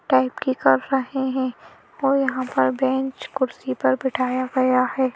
Type की कर रहे हैं और यहां पर बेंच कुर्सी पर बिठाया गया है।